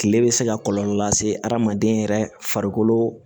Kile bɛ se ka kɔlɔlɔ lase adamaden yɛrɛ farikolo